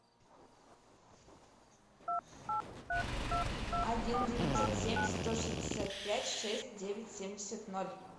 один девятьсот семь сто шестьдесят пять шесть девять семьдесят ноль